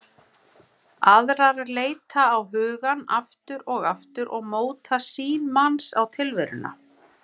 Aðrar leita á hugann aftur og aftur og móta sýn manns á tilveruna.